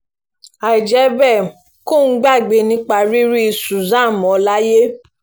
àì jẹ́ bẹ́ẹ̀ kóun gbàgbé nípa rírí susan mọ́ láyé